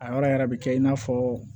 A yɔrɔ yɛrɛ bɛ kɛ i n'a fɔ